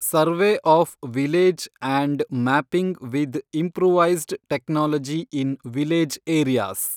survey of village and mapping with improvised technology in village areas